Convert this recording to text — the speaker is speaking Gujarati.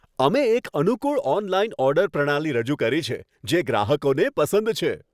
અમે એક અનુકૂળ ઓનલાઈન ઓર્ડર પ્રણાલી રજૂ કરી છે, જે ગ્રાહકોને પસંદ છે.